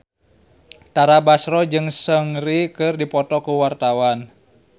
Tara Basro jeung Seungri keur dipoto ku wartawan